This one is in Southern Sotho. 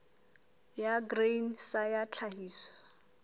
ya grain sa ya tlhahiso